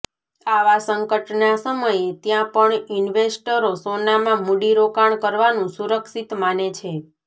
આવા સંકટના સમયે ત્યાં પણ ઈન્વેસ્ટરો સોનામાં મૂડીરોકાણ કરવાનું સુરક્ષિત માને છે